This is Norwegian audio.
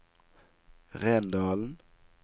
Rendalen